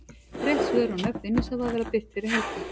Rétt svör og nöfn vinningshafa verða birt fyrir helgi.